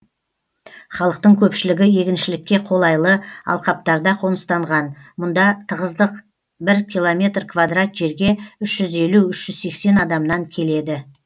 халықтың көпшілігі егіншілікке қолайлы алқаптарда қоныстанған мұнда тығыздық бір километр квадрат жерге үш жүз елу үш жүз сексен адамнан келеді